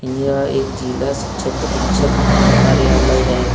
यह एक जिला शिक्षक अधीक्षक कार्यालय है।